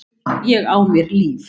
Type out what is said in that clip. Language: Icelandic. Ég á mér líf.